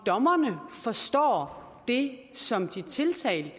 dommerne forstår det som de tiltalte